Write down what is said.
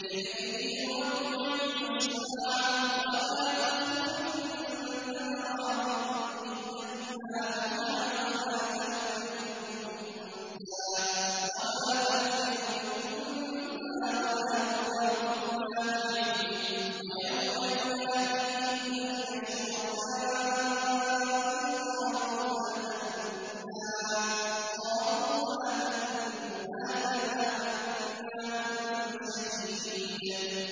۞ إِلَيْهِ يُرَدُّ عِلْمُ السَّاعَةِ ۚ وَمَا تَخْرُجُ مِن ثَمَرَاتٍ مِّنْ أَكْمَامِهَا وَمَا تَحْمِلُ مِنْ أُنثَىٰ وَلَا تَضَعُ إِلَّا بِعِلْمِهِ ۚ وَيَوْمَ يُنَادِيهِمْ أَيْنَ شُرَكَائِي قَالُوا آذَنَّاكَ مَا مِنَّا مِن شَهِيدٍ